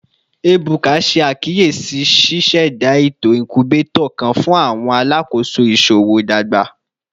Ebuka ṣe akiyesi ṣiṣẹda eto incubator kan fun awọn alakoso iṣowo dagba